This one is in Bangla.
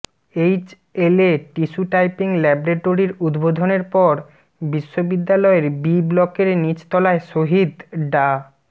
এইচএলএ টিস্যু টাইপিং ল্যাবরেটরির উদ্বোধনের পর বিশ্ববিদ্যালয়ের বি ব্লকের নীচ তলায় শহীদ ডা